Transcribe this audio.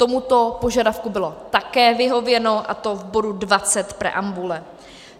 Tomuto požadavku bylo také vyhověno, a to v bodu 20 preambule.